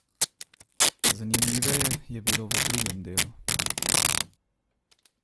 Zanimiveje je bilo v drugem delu.